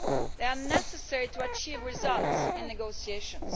This is necessary to achieve results in negotiations.